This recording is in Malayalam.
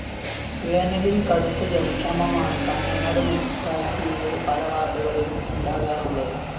വേനലില്‍ കടുത്ത ജലക്ഷാമമാണ് കാഞ്ഞങ്ങാട് മുനിസിപ്പാലിറ്റിയിലെ പലവാര്‍ഡുകളിലും ഉണ്ടാകാറുള്ളത്